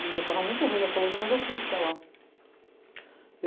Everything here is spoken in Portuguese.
E eu estava muito ruim da coluna, mas eu fui estudar lá.